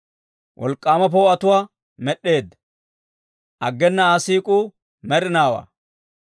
Wolk'k'aama poo'otuwaa med'd'eedda; aggena Aa siik'uu med'inaawaa.